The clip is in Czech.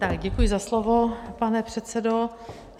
Tak děkuji za slovo, pane předsedo.